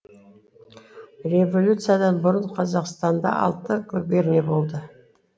революциядан бұрын қазақстанда алты губерния болды